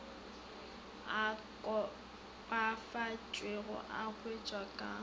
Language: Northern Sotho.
a kopafaditšwego a wetšwa ka